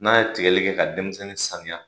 N'a ye tigali kɛ ka denmisɛnnin saniya